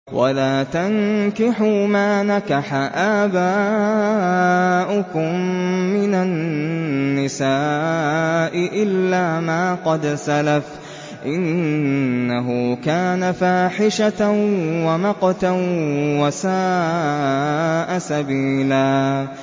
وَلَا تَنكِحُوا مَا نَكَحَ آبَاؤُكُم مِّنَ النِّسَاءِ إِلَّا مَا قَدْ سَلَفَ ۚ إِنَّهُ كَانَ فَاحِشَةً وَمَقْتًا وَسَاءَ سَبِيلًا